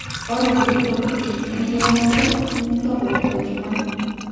Ore nkulie tokitin inkeremore nitobiri tolchumai